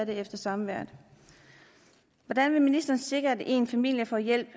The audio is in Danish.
efter samværet hvordan vil ministeren sikre at en familie får hjælp